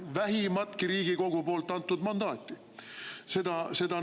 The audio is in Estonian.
Vähimatki Riigikogu poolt antud mandaati!